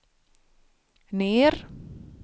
ner